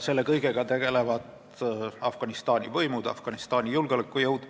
Selle kõigega tegelevad Afganistani võimud, julgeolekujõud.